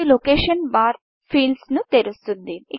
ఇది లొకేషన్ barలొకేషన్ bar field ను తెరుస్తుంది